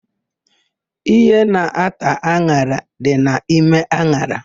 Íhé na-ata an̄ara dị n'ime an̄ara.